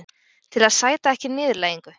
Til að sæta ekki niðurlægingu.